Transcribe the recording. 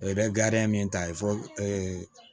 I bɛ gariya min ta ye fo